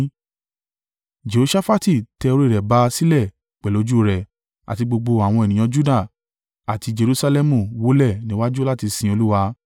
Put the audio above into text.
Jehoṣafati tẹ orí rẹ̀ ba sílẹ̀ pẹ̀lú ojú rẹ̀, àti gbogbo àwọn ènìyàn Juda àti Jerusalẹmu wólẹ̀ níwájú láti sin Olúwa.